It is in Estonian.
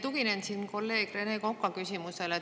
Tuginen siin kolleeg Rene Koka küsimusele.